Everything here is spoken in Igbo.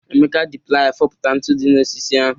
Emeka ji playa foputa ntu dị n'osisi ahụ.